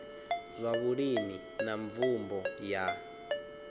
zwa vhulimi na mvumbo ya